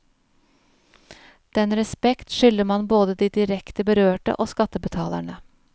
Den respekt skylder man både de direkte berørte og skattebetalerne.